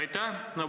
Aitäh!